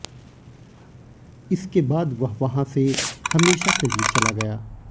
इसके बाद वह वहां से हमेशा के लिए चला गया